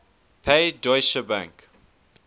pay deutsche bank